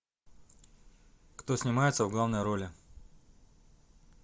кто снимается в главной роли